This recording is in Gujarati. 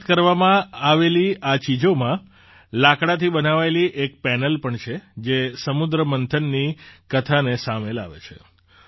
પરત કરવામાં આવેલી આ ચીજોમાં લાકડાથી બનાવાયેલી એક પેનલ પણ છે જે સમુદ્રમંથનની કથાને સામે લાવે છે